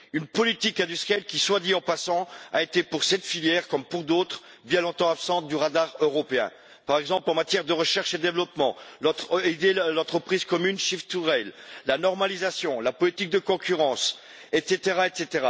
Une politique industrielle qui, soit dit en passant, a été pour cette filière comme pour d'autres bien longtemps absente du radar européen, par exemple en matière de recherche et développement, au sujet de l'entreprise commune Shift 2 Rail, de la normalisation, de la politique de concurrence, etc.